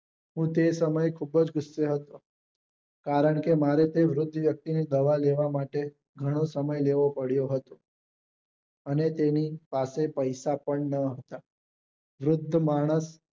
હું તે સમયે ખુબ જ ગુસ્સે હતો કારણકે મારે તે વૃદ્ધ વ્યક્તિ ની દવા લેવા માટે ઘણો સમય લેવો પડ્યો હતો અને તેની પાસે પૈસા પણ ના હતા વૃદ્ધ માણસ